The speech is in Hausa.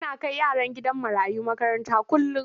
Ana kai yaran gidan marayu makaranta kullum.